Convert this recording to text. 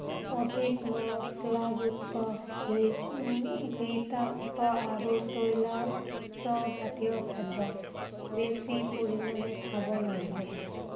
অধিক মছলা যুক্ত, ঘৃ উম ঘৃতাক্ত আৰু তৈলাক্ত জাতীয় খাদ্য বেছি পৰিমাণে খাব নালাগে।